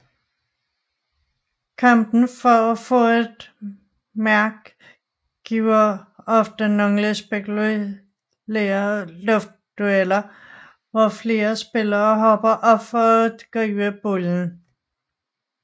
Kampen for at få et mark giver ofte nogle spektakulære luftdueller hvor flere spillere hopper op for at gribe bolden